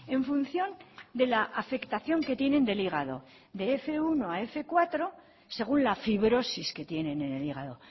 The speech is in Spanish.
en función de la afectación que tienen del hígado de fminus bat a fmenos cuatro según la fibrosis que tienen en el hígado